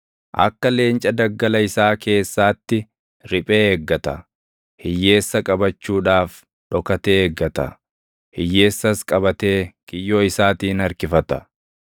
Akka leenca daggala isaa keessaatti riphee eeggata. Hiyyeessa qabachuudhaaf dhokatee eeggata; hiyyeessas qabatee kiyyoo isaatiin harkifata.